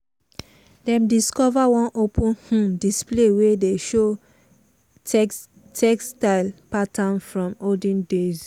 dem discover one open um display wey dey show textile pattern from olden days.